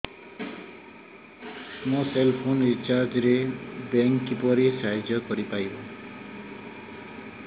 ମୋ cell phone recharge ରେ bank କିପରି ସାହାଯ୍ୟ କରିପାରିବ